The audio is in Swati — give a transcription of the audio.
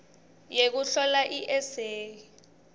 yekuhlola i eseyi